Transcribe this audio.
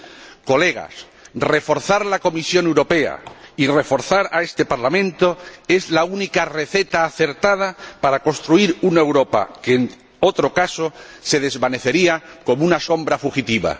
Queridos colegas, reforzar la Comisión Europea y reforzar este Parlamento es la única receta acertada para construir una Europa que, en otro caso, se desvanecería como una sombra fugitiva.